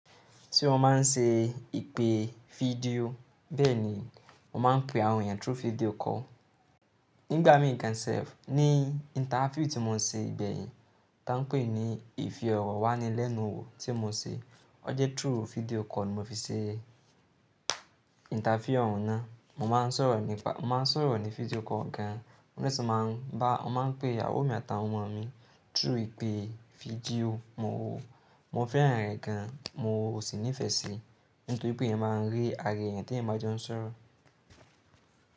Tí wọ́n máa ń ṣe ìpè fídíò bẹ́ẹ̀ ni wọ́n máa ń pe àwọn èèyàn through video call. Nígbà mí gan se ni interview tí mo ṣe gbẹ̀yìn tá ń pè ní ìfì ọ̀rọ̀ wá ni lẹ́nu òwò tí mo ṣe. Ọ jẹ́ through video call mo fi ṣe interview ọ̀rọ̀ náà. Mo máa ń sọ̀rọ̀ ní pa-- mo máa ń sọ̀rọ̀ ní video call gan. Ọ̀ún tẹ́ ṣe máa ń bá-- wọ́n máa ń pe ìyàwó mi àti àwọn ọmọ mi through ìpè fídíò. Mo fẹ́ràn rẹ̀ gan, mo sì nífẹ̀ẹ́ sí i nítorí pé ìyẹn máa ń rí ara èèyàn tí ìyẹn bá jọ ń sọ̀rọ̀